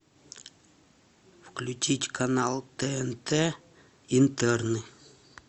включить канал тнт интерны